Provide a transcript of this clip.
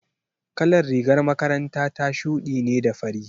Kalar rigar makaranta ta shuɗi ne da fari.